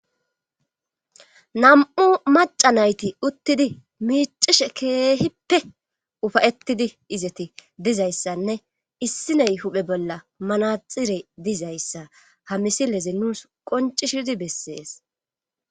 Nam'u maca nayti uttidi miicishe keehippe ufayettidi izeti dizayssanne issiney huphe bolla manaxire dizayssa ha misileze nuus qoncishidi bessees